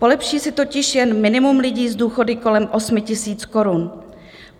Polepší si totiž jen minimum lidí s důchody kolem 8 000 korun.